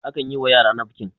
akan yiwa yara nafkin